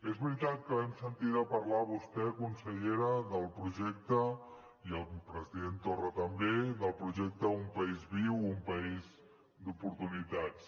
és veritat que l’hem sentida parlar a vostè consellera i al president torra també del projecte un país viu un país d’oportunitats